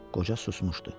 Qoca susmuşdu.